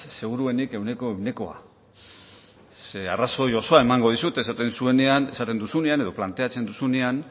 seguruenik ehuneko ehuna ze arrazoi osoa emango dizut esaten zuenean esaten duzuenena edo planteatzen duzuenean